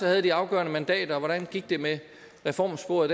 havde de afgørende mandater og hvordan gik det med reformsporet